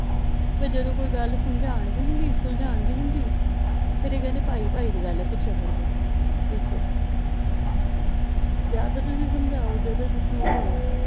ਤੇ ਜਦੋਂ ਕੋਈ ਗੱਲ ਸਮਝਾਉਣ ਦੀ ਹੁੰਦੀ ਸੁਲਝਾਉਣ ਦੀ ਹੁੰਦੀ ਫਿਰ ਇਹ ਕਹਿੰਦੇ ਭਾਈ ਭਾਈ ਦੀ ਗੱਲ ਹੈ ਪਿੱਛੇ ਹੱਟ ਜਾਓ ਦੱਸੋ ਜਾਂ ਤਾਂ ਤੁਸੀਂ ਸਮਝਾਓ ਜਾਂ ਤਾਂ ਤੁਸੀਂ